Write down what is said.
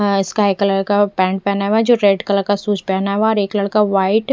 अ sky colour का pant पहना हुआ है जो रेड कलर का शूज पहना हुआ है और एक लड़का व्हाइट --